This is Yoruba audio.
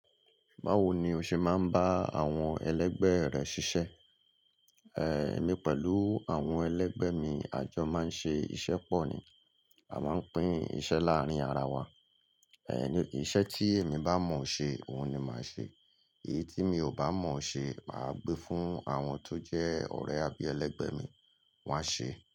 Báwo ni o ṣe máa ń bá àwọn ẹlẹgbẹ́ rẹ ṣiṣẹ́? Èmi pẹ̀lú àwọn ẹlẹgbẹ́ mi, àjọ máa ń ṣe iṣẹ́ pọ̀ ni, a máa ń pín iṣẹ́ láàárín ara wa. Ẹ̀ ni iṣẹ́ tí èmi bá mọ̀ ṣe, òun ni màá ṣe. Èyí tí mi ò bá mọ̀ ṣe, màá gbé fún àwọn tó jẹ́ ọ̀rẹ́ àbí ẹlẹgbẹ́ mi, wọ́n á ṣe.